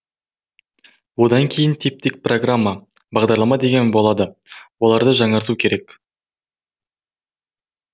одан кейін типтік программа бағдарлама деген болады оларды жаңарту керек